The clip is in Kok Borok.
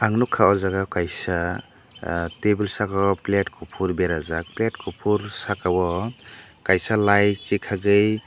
nugkha aw jaaga kaiisa ah tabil saka o plate kufur berajak plate kufur saka o kaisa light chekaigei.